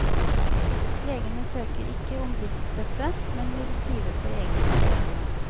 Legene søker ikke om driftsstøtte, men vil drive på egenandelene.